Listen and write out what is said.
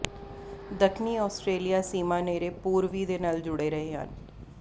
ਦੱਖਣੀ ਆਸਟ੍ਰੇਲੀਆ ਸੀਮਾ ਨੇੜੇ ਪੂਰਬੀ ਦੇ ਨਾਲ ਜੁੜੇ ਰਹੇ ਹਨ